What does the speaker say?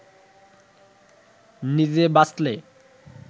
নিজে বাঁচলে